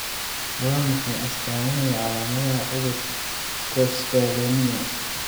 Waa maxay astamaha iyo calaamadaha cudurka Kosztolanyia